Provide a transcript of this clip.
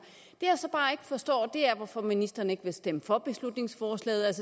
jeg så bare ikke forstår er hvorfor ministeren ikke vil stemme for beslutningsforslaget